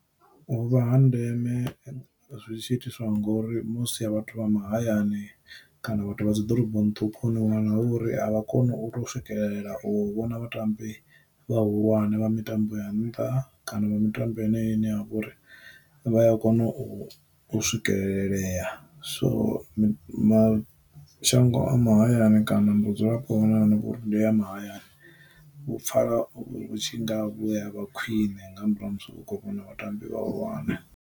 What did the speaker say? U vha ha ndeme zwi tshi itiswa ngori musi vhathu vha mahayani kana vhathu vha dzi ḓoroboni ṱhukhu ni wana hu uri avha koni u to swikelela u vhona vhatambi vhahulwane vha mitambo ya nnṱha kana vha mitambo ine ya ine ya vha uri vha ya kona u u swikelelea. So mi, mashango a mahayani kana vhu dzulapo vhonala uri ndo ya mahayani, vhu pfala tshi nga vhu ya vha khwine nga murahu ha musi hu kho vhona vhatambi vhahulwane.